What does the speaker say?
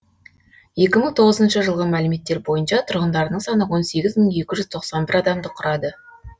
екі мың тоғызыншы жылғы мәліметтер бойынша тұрғындарының саны он сегіз мың екі жүз тоқсан бір адамды құрады